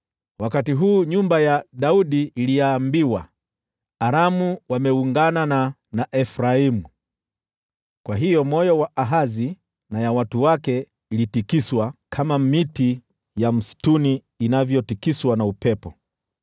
Wakati huu nyumba ya Daudi iliambiwa, “Aramu wameungana na Efraimu.” Kwa hiyo mioyo ya Ahazi na watu wake ilitikiswa, kama miti ya msituni inavyotikiswa na upepo.